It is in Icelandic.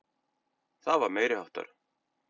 Það var meiriháttar.